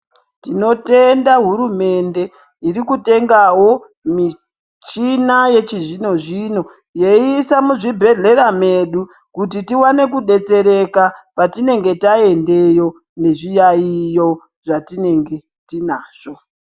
Tinotenda hurumende, iri kutengawo michina yechizvino-zvino, yeiisa muzvibhedhlera medu, kuti tiwane kudetsereka, petinenge taendeyo nezviyaiyo zvetinenge tinazvo.